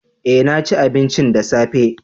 eh naci abinci da safe